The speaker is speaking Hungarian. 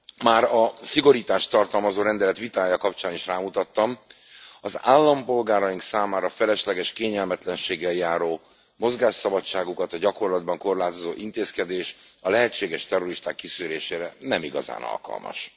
Már a szigorítást tartalmazó rendelet vitája kapcsán is rámutattam az állampolgáraink számára felesleges kényelmetlenséggel járó, mozgásszabadságukat a gyakorlatban korlátozó intézkedés a lehetséges terroristák kiszűrésére nem igazán alkalmas.